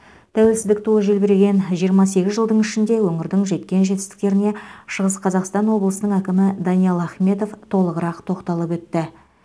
тәуелсіздік туы желбіреген жиырма сегіз жылдың ішінде өңірдің жеткен жетістіктеріне шығыс қазақстан облысының әкімі даниал ахметов толығырақ тоқталып өтті